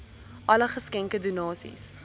alle geskenke donasies